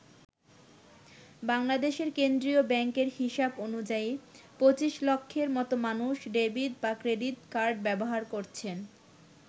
বাংলাদেশের কেন্দ্রীয় ব্যাংকের হিসাব অনুযায়ী ২৫ লক্ষের মতো মানুষ ডেবিট বা ক্রেডিট কার্ড ব্যবহার করছেন।